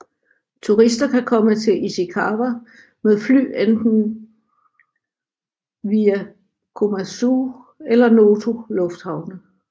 Turister kan komme til Ishikawa med fly via enten Komatsu eller Noto lufthavne